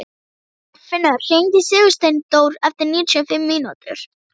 Arnfinnur, hringdu í Sigursteindór eftir níutíu og fimm mínútur.